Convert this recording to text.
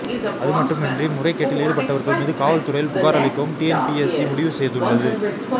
அதுமட்டுமின்றி முறைகேட்டில் ஈடுபட்டவர்கள் மீது காவல் துறையில் புகார் அளிக்கவும் டிஎன்பிஎஸ்சி முடிவு செய்துள்ளது